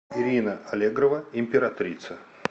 ирина аллегрова императрица